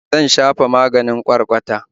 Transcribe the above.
Zan shafa maganin ƙwarƙwata